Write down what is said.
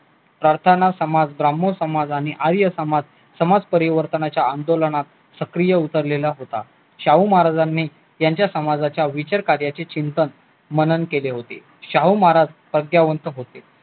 प्रार्थना समाज, भ्रमो समाज आणि आर्य समाज समाज परिवर्तनाच्या आंदोलनात सक्रिय उतरलेला होता शाहू महाराजांनी यांच्या समाजाच्या विचार कार्याचे चिंतन मनन केले होते शाहू महाराज प्रज्ञावंत होते